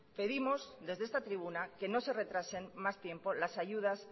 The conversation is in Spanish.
pedimos desde esta tribuna que no se retrasen más tiempos las ayudas